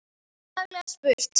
En ánægjan var fjarri.